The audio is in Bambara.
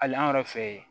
Hali an yɛrɛ fɛ yen